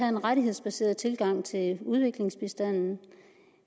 en rettighedsbaseret tilgang til udviklingsbistanden